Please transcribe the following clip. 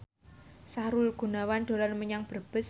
Sahrul Gunawan dolan menyang Brebes